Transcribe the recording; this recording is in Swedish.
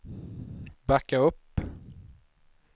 backa upp